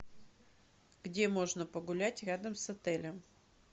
где можно погулять рядом с отелем